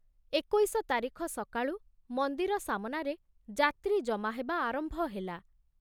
ଏକୋଇଶ ତାରିଖ ସକାଳୁ ମନ୍ଦିର ସାମନାରେ ଯାତ୍ରୀ ଜମା ହେବା ଆରମ୍ଭ ହେଲା।